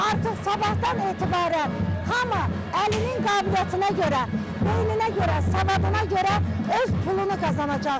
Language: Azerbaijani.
Artıq sabahdan etibarən hamı əlinin qabiliyyətinə görə, beyninə görə, savadına görə öz pulunu qazanacaqdır.